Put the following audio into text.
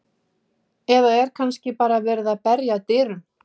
Eða er kannski bara verið að berja að dyrum?